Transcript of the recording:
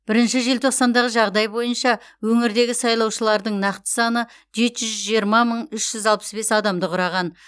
бірінші желтоқсандағы жағдай бойынша өңірдегі сайлаушылардың нақты саны жеті жүз жиырма мың үш жүз алпыс бес адамды құраған